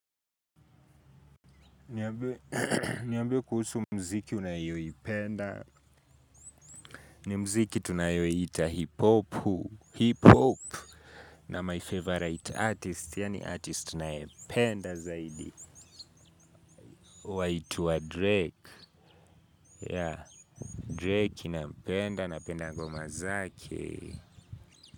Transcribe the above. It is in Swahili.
Niambie kuhusu mziki unayoipenda ni mziki tunayoiita hip hopu hip hop na my favorite artist yaani artist nayependa zaidi waitwa drake yeah drake nampenda napenda ngoma zake.